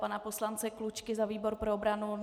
Pana poslance Klučky za výbor pro obranu.